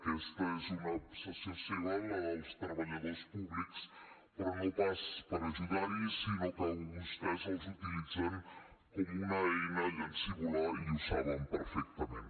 aquesta és una obsessió seva la dels treballadors públics però no pas per ajudar hi sinó que vostès els utilitzen com una eina llancívola i ho saben perfectament